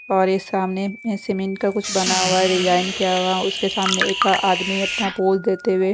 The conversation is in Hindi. और इस सामने में सीमेंट का कुछ बना हुआ है डिजाइन किया हुआ उसके सामने एक आदमी अपना पॉज देते हुए--